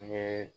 N ye